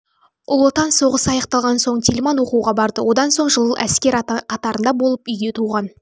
ұлы отан соғысы аяқталған соң тельман оқуға барды одан соң жыл әскер қатарында болып үйге туған